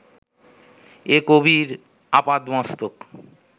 এ কবির আপাদমস্তক